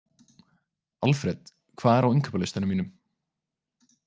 Alfred, hvað er á innkaupalistanum mínum?